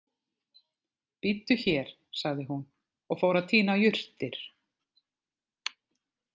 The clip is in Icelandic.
Bíddu hér, sagði hún og fór að tína jurtir.